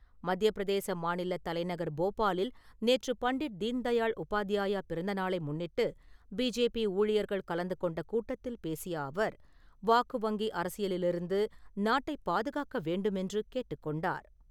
மத்தியப்பிரதேச மாநில தலைநகர் போபாலில் நேற்று பண்டிட் தீன்தயாள் உபாத்யாயா பிறந்த நாளை முன்னிட்டு பிஜேபி ஊழியர்கள் கலந்து கொண்ட கூட்டத்தில் பேசிய அவர், வாக்கு வங்கி அரசியலிலிருந்து நாட்டை பாதுகாக்க வேண்டுமென்று கேட்டுக் கொண்டார்.